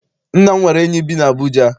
Nna m nwere enyi bi n'Abuja.